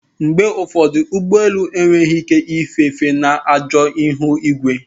Mgbe ụfọdụ ụgbọ elu enweghị ike ife efe na ajọ ihu igwe